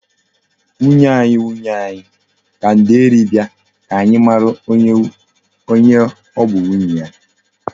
"Nwunye anyi, nwunye anyi" ka nde eri bia ka anyi mara onye o bu nwunye ya.